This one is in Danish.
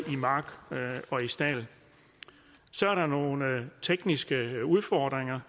mark og stald så er der nogle tekniske udfordringer